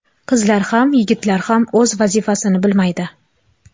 Qizlar ham yigitlar ham o‘z vazifasini bilmaydi.